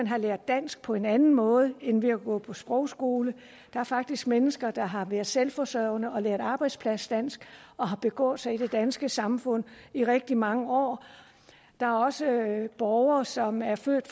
har lært dansk på en anden måde end ved at gå på sprogskole der er faktisk mennesker der har været selvforsørgende og lært arbejdspladsdansk og har begået sig i det danske samfund i rigtig mange år der er også borgere som er født